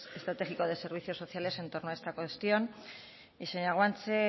estratégico de servicios sociales en torno a esta cuestión y señora guanche